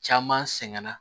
Caman sɛgɛnna